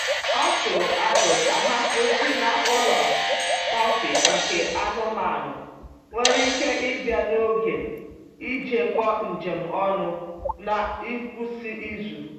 O tụrụ aro ka ha kwụsị n’ụlọ kọfị nke anụmanụ nwere ike ịbịa n’oge ijekọ njem ọnụ n’ngwụsị izu.